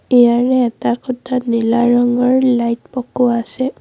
ইয়াৰে এটা খুঁটাত নীলা ৰঙৰ লাইট পকোৱা আছে।